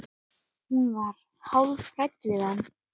Hún var hálf hrædd við hann.